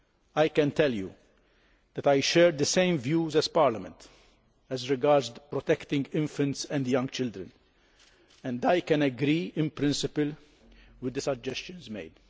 I can tell you that I share the same views as Parliament as regards protecting infants and young children, and I can agree in principle with the suggestions made.